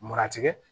Munna tigɛ